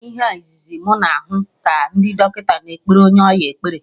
Ihe a izizi mụ na hụ ka ndị dọkịta na ekpere onye ọya ekpere